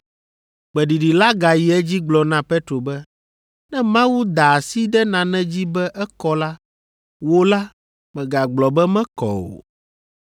Gbeɖiɖi la gayi edzi gblɔ na Petro be, “Ne Mawu da asi ɖe nane dzi be ekɔ la, wò la, mègagblɔ be mekɔ o.”